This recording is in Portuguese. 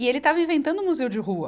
E ele estava inventando um museu de rua.